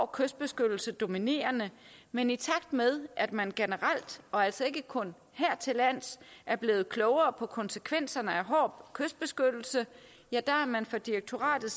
kystbeskyttelse dominerende men i takt med at man generelt og altså ikke kun hertillands er blevet klogere på konsekvenserne af hård kystbeskyttelse er direktoratet